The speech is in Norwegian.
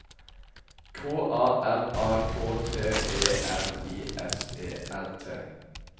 K A R A K T E R I S E R T